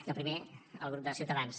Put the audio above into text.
i el primer el grup de ciutadans